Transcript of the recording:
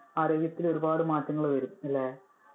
ആരോഗ്യത്തിൽ ഒരുപാട് മാറ്റം വരും അല്ലെ?